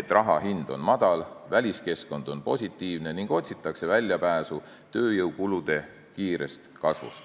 et raha hind on madal ja väliskeskkond on positiivne ning otsitakse väljapääsu tööjõukulude kiirest kasvust.